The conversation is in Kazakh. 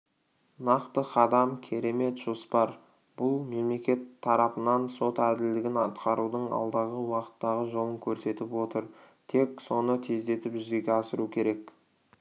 нақты қадам керемет жоспар бұл мемлекет тарапынан сот әділдігін атқарудың алдағы уақыттағы жолын көрсетіп отыр тек соны тездетіп жүзеге асыру керек